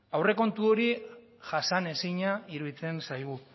aurrekontu hori jasanezina iruditzen zaigu